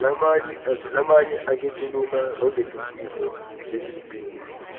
lamanye akituluma rogetintifo letiliciniso